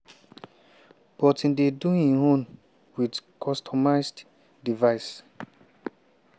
but e dey do im own wit customised device.